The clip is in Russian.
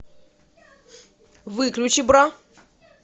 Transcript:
выключи бра